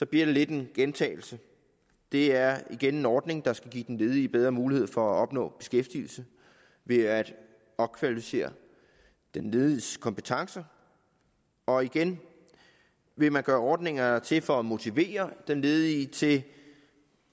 det lidt en gentagelse det er igen en ordning der skal give den ledige bedre mulighed for at opnå beskæftigelse ved at opkvalificere den lediges kompetencer og igen vil man gøre ordninger der er til for at motivere den ledige til